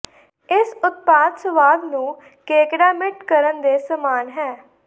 ਇਸ ਉਤਪਾਦ ਸੁਆਦ ਨੂੰ ਕੇਕੜਾ ਮੀਟ ਕਰਨ ਦੇ ਸਮਾਨ ਹੈ